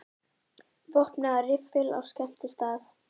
Vopnaður riffli á skemmtistað